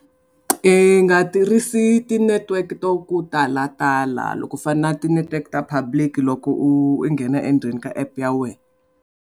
I nga tirhisi ti-network to ku talatala loko u fana na ti-network ta republic loko u nghena endzeni ka app ya wena.